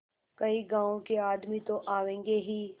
कई गाँव के आदमी तो आवेंगे ही